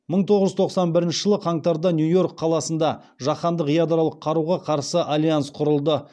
мың тоғыз жүз тоқсан бірінші жылы қаңтарда нью йорк қаласында жаһандық ядролық қаруға қарсы альянс құрылды